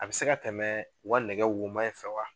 A be se ka tɛmɛ uka nɛgɛ woma in fɛ wa